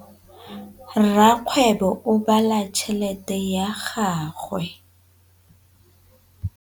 Rakgwêbô o bala tšheletê ya gagwe.